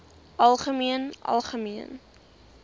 algemeen algemeen